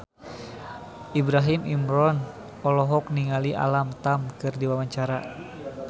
Ibrahim Imran olohok ningali Alam Tam keur diwawancara